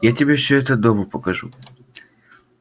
я тебе всё это дома покажу